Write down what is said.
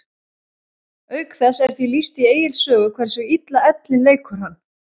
Auk þess er því lýst í Egils sögu hversu illa ellin leikur hann.